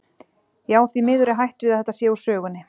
Já, því miður er hætt við að þetta sé úr sögunni.